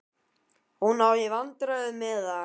Hún á í vandræðum með hann.